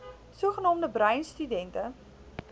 sogenaamde bruin studente